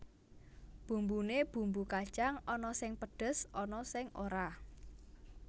Bumbune bumbu kacang ana sing pedhes ana sing ora